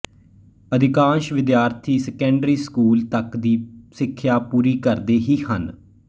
ਅਧਿਕਾਸ਼ ਵਿਦਿਆਰਥੀ secondary school ਤੱਕ ਦੀ ਸਿੱਖਿਆ ਪੂਰੀ ਕਰਦੇ ਹੀ ਹਨ